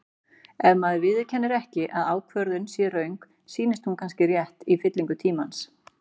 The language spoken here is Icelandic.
Ef maður viðurkennir ekki að ákvörðun sé röng, sýnist hún kannski rétt í fyllingu tímans.